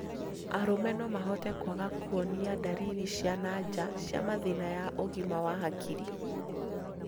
Arũme no mahote kũaga kuonia ndariri cia nanja cia mathĩna ya ũgima wa hakiri,